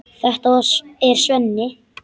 Þetta er Svenni.